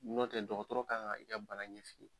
N'o tɛ dɔkɔtɔrɔ kan k’i ka bana ɲɛf’i ye.